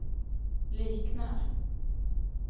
liknar